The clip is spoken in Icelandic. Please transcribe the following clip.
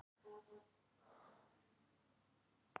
hver er uppruni og merking páskaeggsins